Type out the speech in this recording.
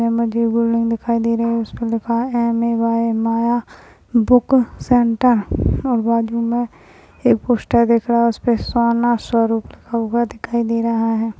यामध्ये बिल्डिंग दिखाई दे रही है उसपे लिखा है M A Y A Maya book centre Bengali मे एक पोस्टर दिख रहा है उसपे सोना सोल्ड लिखा हुआ दिखाई दे रहा है।